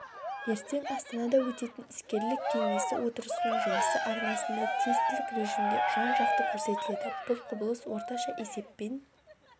ертең астанада өтетін іскерлік кеңесі отырысының жұмысы арнасында тестілік режимде жан-жақты көрсетіледі бұл құбылыс орташа есеппен